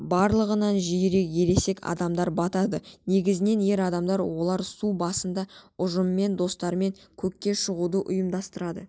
барлығынан жиірек ересек адамдар батады негізінен ер адамдар олар су басында ұжыммен достармен көкке шығуды ұйымдастырады